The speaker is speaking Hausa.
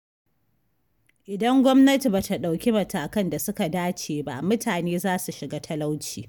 Idan gwamnati ba ta ɗauki matakan da suka dace ba mutane za su shiga talauci.